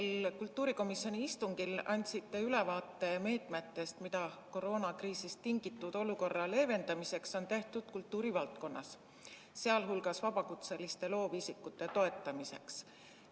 Eilsel kultuurikomisjoni istungil andsite ülevaate meetmetest, mida koroonakriisist tingitud olukorra leevendamiseks on tehtud kultuurivaldkonnas, sealhulgas vabakutseliste loovisikute toetamiseks.